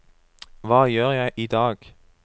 hva gjør jeg idag